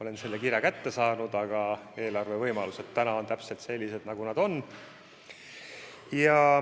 Olen selle kirja kätte saanud, aga eelarve võimalused on täpselt sellised, nagu nad on.